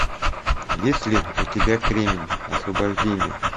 есть ли у тебя кремень освобождение